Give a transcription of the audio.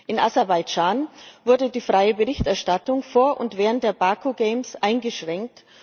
In Aserbaidschan wurde die freie Berichterstattung vor und während der Baku Games eingeschränkt.